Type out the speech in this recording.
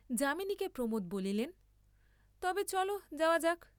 যামিনীকে প্রমোদ বলিলেন তবে চল যাওয়া যাক্।